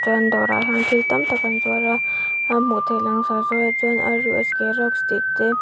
chuan dawrah hian thil tam tak an zuar a a hmuh theih langsar zual ah chuan rusk tih te.